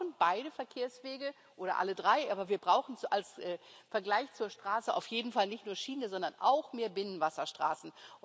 Wir brauchen beide Verkehrswege, oder alle drei, aber wir brauchen im Vergleich zur Straße auf jeden Fall nicht nur die Schiene, sondern auch mehr Binnenwasserstraßen.